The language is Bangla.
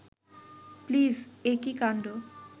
প্লিজ একি কাণ্ড